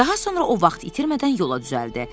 Daha sonra o vaxt itirmədən yola düzəldi.